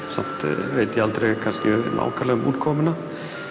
samt veit ég aldrei nákvæmlega um útkomuna